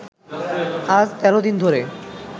আজ ১৩ দিন ধরে